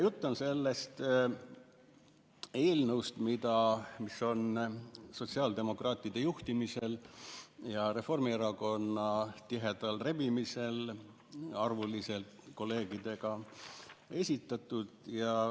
Jutt käib sellest eelnõust, mis on esitatud sotsiaaldemokraatide juhtimisel ja Reformierakonna kolleegide tihedal rebimisel, arvuliselt.